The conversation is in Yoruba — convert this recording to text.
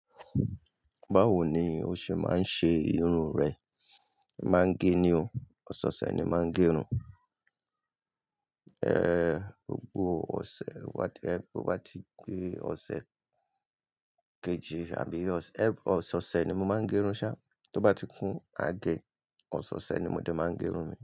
Báwo ni o ṣe máa ń ṣe irun rẹ? N máa ń gẹ ni o. Ọ̀sọ̀ọ̀ṣẹ̀ ni máa ń gẹ'run. Eh, gbogbo ọ̀sẹ̀ wa tó yẹ pé tó bá ti gbé ọ̀sẹ̀ keje àbí ọ̀sẹ̀, ọ̀sẹ̀ ọ̀sẹ̀ ni mo máa ń gẹrun sha tó bá ti kún, a gẹ, ọ̀sọ̀ọ̀ṣẹ̀ ni mo dẹ̀ máa ń gẹ irun mi.